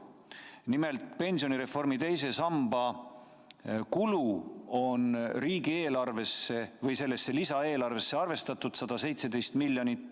Nimelt, pensionireformi teise samba kuluks on selles lisaeelarves arvestatud 117 miljonit eurot.